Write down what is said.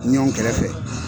Ɲɔn kɛrɛfɛ.